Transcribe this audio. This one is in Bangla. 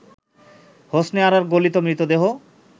হোসনে আরার গলিত মৃতদেহ